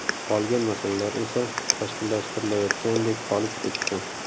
Qolgan masalalar esa tashkillashtirilayotgandek qolib ketdi.